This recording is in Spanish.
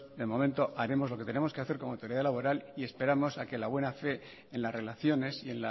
de momento haremos lo que tengamos que hacer como autoridad laboral y esperamos a que la buena fe en las relaciones y